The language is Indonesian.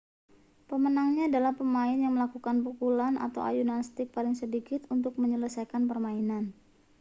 pemenangnya adalah pemain yang melakukan pukulan atau ayunan stik paling sedikit untuk menyelesaikan permainan